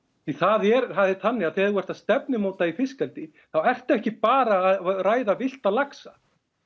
því það er þannig að þegar þú ert að stefnumóta fiskeldi þá ertu ekki bara að ræða villta laxa